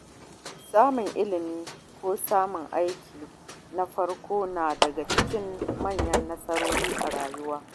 Samun ilimi ko samun aiki na farko na daga cikin manyan nasarori a rayuwa.